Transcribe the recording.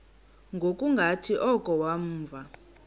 ngokungathi oko wavuma